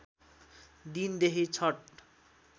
दिन देखि छठ